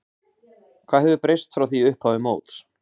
Hvað hefur breyst frá því í upphafi móts?